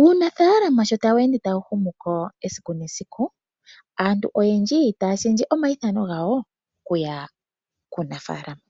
Uunafaalama sho tawu ende tawu humu ko esiku nesiku, aantu oyendji taya shendje omaithano gawo okuya kuunafalama.